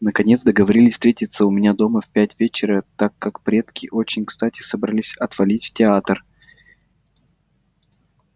наконец договорились встретиться у меня дома в пять вечера так как предки очень кстати собрались отвалить в театр